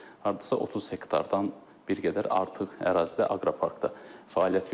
Hardasa 30 hektardan bir qədər artıq ərazidə aqroparkda fəaliyyət göstərəcək.